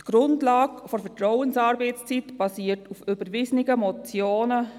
Die Grundlage der Vertrauensarbeitszeit basiert auf überwiesenen Motionen.